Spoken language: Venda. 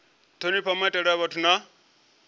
thonifha maitele a vhathu na